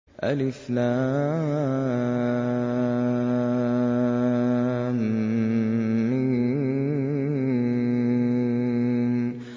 الم